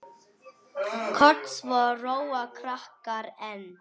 Kort svo róa krakkar enn.